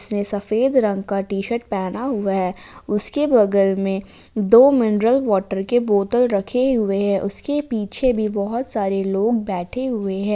सफेद रंग का टी शर्ट पहना हुआ है उसके बगल में दो मिनरल वॉटर के बोतल रखें हुए हैं उसके पीछे भी बहुत सारे लोग बैठें हुएं हैं।